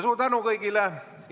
Suur tänu kõigile!